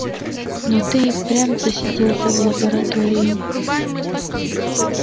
но ты и впрямь засиделся в лаборатории